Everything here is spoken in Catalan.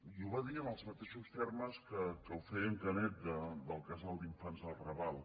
i ho va dir en els mateixos termes en què ho feia en canet del casal d’infants del raval